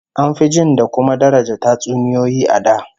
An fi jin da kuma daraja tatsuniyoyi a da